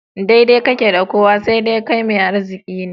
Daidai ke da kowa, sai dai kai mai arziki.